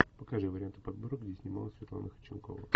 покажи варианты подборок где снималась светлана ходченкова